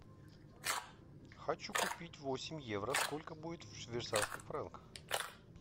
хочу купить восемь евро сколько будет в швейцарских франках